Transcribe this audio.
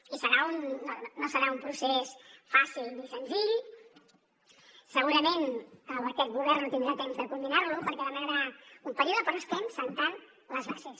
i no serà un procés fàcil ni senzill segurament aquest govern no tindrà temps de culminar lo perquè demanarà un període però estem assentant les bases